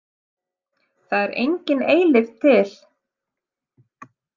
Það er engin eilífð til.